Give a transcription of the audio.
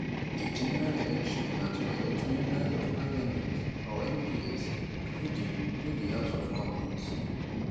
di general election na to elect members of parliament or mps go di go di house of commons